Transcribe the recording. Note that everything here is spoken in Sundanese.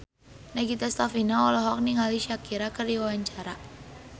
Nagita Slavina olohok ningali Shakira keur diwawancara